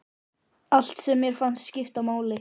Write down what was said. Allt sem mér fannst skipta máli.